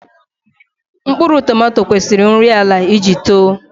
Mkpụrụ tomato kwesiri nri ala iji too